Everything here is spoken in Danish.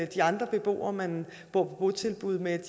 de andre beboere man bor på botilbud med